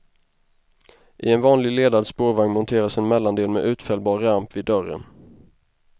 I en vanlig ledad spårvagn monteras en mellandel med utfällbar ramp vid dörren.